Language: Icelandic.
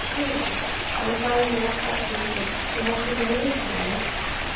Nei, nei, hann sagði mér ekki allt um ykkur, þú mátt ekki misskilja mig.